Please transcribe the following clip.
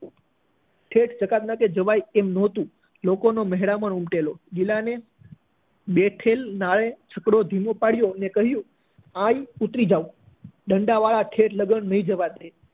છેક જકાતનાકે જવાય તેમ ન હતું લોકો નો મહેરામણ ઉમટેલો ગિલા ને બેઠેલ જોઈ છકડો ધીમો પડ્યો અને કહ્યું અહી ઉતરી જાઓ ડંડા વાળા આગળ ઠેઠ સુધી નહી જવાય